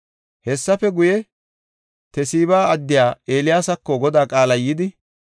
Hessafe guye, Tesiba addiya Eeliyaasako Godaa qaalay yidi,